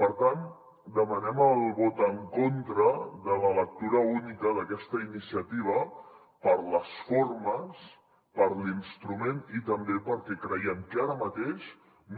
per tant demanem el vot en contra de la lectura única d’aquesta iniciativa per les formes per l’instrument i també perquè creiem que ara mateix